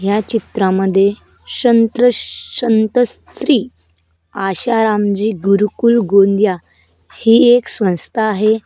ह्या चित्रामध्ये शंत्र शंतश्री आशारामजी गुरुकुल गोंदिया हि एक संस्था आहे.